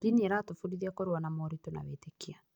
Ndini ĩratũbundithia kũrũa na moritũ na wĩtĩkia.